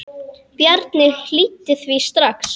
Bjarni hlýddi því strax.